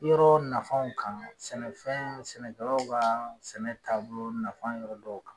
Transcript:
Yɔrɔ nafanw kan, sɛnɛfɛn sɛnɛkɛlaw kaa sɛnɛ taabolo nafan yɔrɔ dɔw kan.